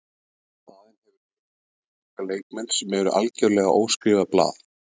Í staðinn hefur liðið fengið unga leikmenn sem eru algjörlega óskrifað blað.